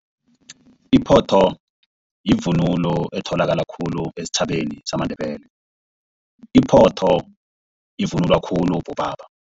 Iphotho yivunulo etholakala khulu esitjhabeni samaNdebele iphotho ivunulwa khulu bobaba.